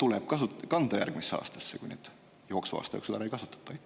tuleb vahendeid kanda järgmisesse aastasse, kui neid jooksva aasta jooksul ära ei kasutata?